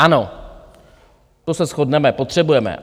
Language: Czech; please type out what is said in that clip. Ano, to se shodneme, potřebujeme.